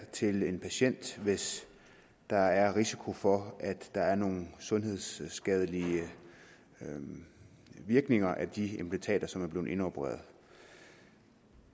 til en patient hvis der er risiko for at der er nogle sundhedsskadelige virkninger af de implantater som er blevet indopereret